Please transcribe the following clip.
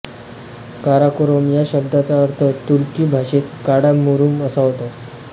काराकोरम या शब्दाचा अर्थ तुर्की भाषेत काळा मुरुम असा होतो